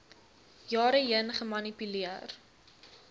jare heen gemanipuleer